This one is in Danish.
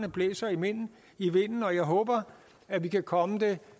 blæser i vinden i vinden og jeg håber at vi kan komme det